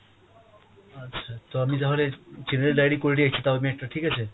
আচ্ছা, তো আমি তাহলে general diary করে রাখছি টাও আমি একটা ঠিক আছে।